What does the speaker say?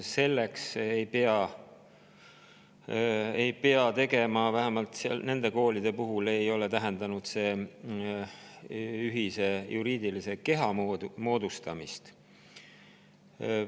Selleks ei pea tegema ühist juriidilist keha, vähemalt nende koolide puhul ei ole see tähendanud ühise juriidilise keha moodustamist.